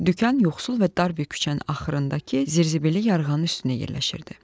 Dükan yoxsul və dar bir küçənin axırındakı zirzibilili yarığanın üstündə yerləşirdi.